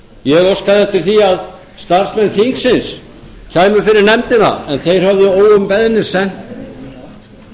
ég óskaði eftir því að starfsmenn þingsins kæmu fyrir nefndina en þeir höfðu óumbeðnir sent umsögn til